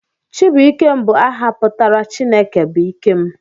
Chibuikem bụ áhà pụtara 'Chineke bụ ike m'